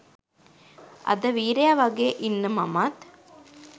අද වීරය වගේ ඉන්න මමත්